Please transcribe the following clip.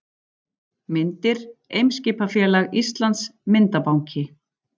Myndir: Eimskipafélag Íslands- Myndabanki.